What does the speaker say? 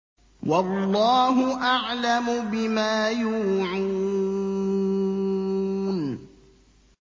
وَاللَّهُ أَعْلَمُ بِمَا يُوعُونَ